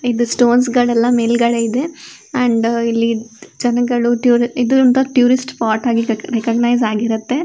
ಇದು ಸ್ಟೋನ್ಸ್ ಗಳೆಲ್ಲ ಮೇಲ್ಗಡೆ ಇದೆ ಅಂಡ್ ಇಲ್ಲಿ ಜನಗಳು ಇದು ಟೂರಿಸ್ಟ್ ಸ್ಪಾಟ್ ಅಂತ ರೆಕಾಗ್ನಿಸ್ ಆಗಿರುತ್ತೆ.